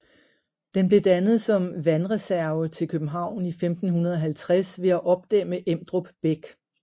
Den blev dannet som vandreserve til København i 1550 ved at opdæmme Emdrup Bæk